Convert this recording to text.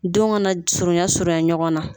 Denw kana surunya surunya ɲɔgɔn na